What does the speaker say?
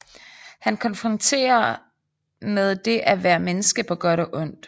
Han konfronterer med det at være menneske på godt og ondt